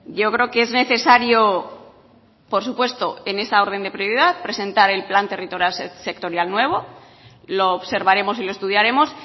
yo creo que es necesario por supuesto en esa orden de prioridad presentar el plan territorial sectorial nuevo lo observaremos y lo estudiaremos